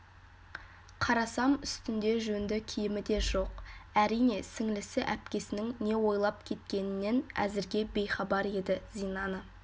қарасам үстінде жөнді киімі де жоқ әрине сіңлісі әпкесінің не ойлап кеткенінен әзірге бейхабар еді зинаны